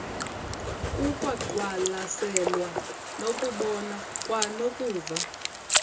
kukwaqwalaselwa nokubona kwanokuva